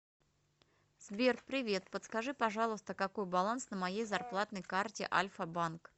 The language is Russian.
сбер привет подскажи пожалуйста какой баланс на моей зарплатной карте альфа банк